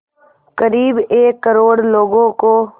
क़रीब एक करोड़ लोगों को